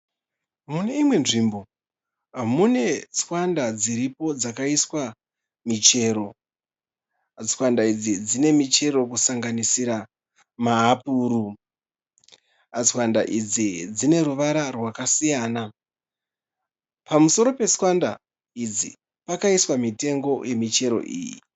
Mune imwe nzvimbo mune tswanda dziripo dzakaisva michero. Tsvanda idzi dzine michero kusanganisira mahapuru. Tswanda idzi dzine ruvara rwakasiyana. Pamusoro petswanda idzi pakaiswa mitengo yemichero iyi.